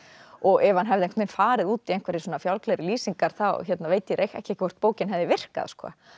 og ef hann hefði farið út í einhverjar fjálglegri lýsingar þá veit ég ekki hvort bókin hefði virkað